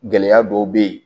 Gɛlɛya dɔw bɛ ye